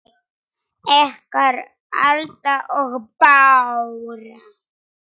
Ykkar, Alda og Bára.